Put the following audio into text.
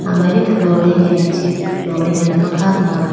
amari flooring ala chi flooring ala ma kha puma.